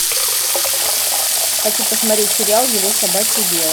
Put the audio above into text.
хочу посмотреть сериал его собачье дело